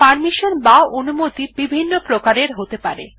permission বা অনুমতি বিভিন্ন প্রকারের হতে পারে